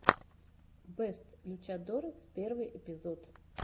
бэст лючадорес первый эпизод